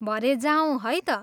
भरे जाऔँ है त।